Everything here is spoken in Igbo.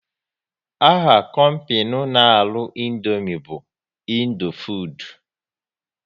Aha kompinu n' arụ Indomie bu Indofood